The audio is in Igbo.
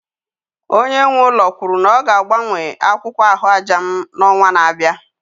Onye nwe ụlọ kwuru na ọ ga-agbanwe akwụkwọ ahụaja m n'ọnwa na-abịa